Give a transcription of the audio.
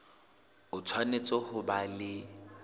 o tshwanetse ho ba le